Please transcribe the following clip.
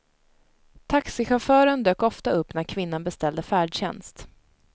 Taxichauffören dök ofta upp när kvinnan beställde färdtjänst.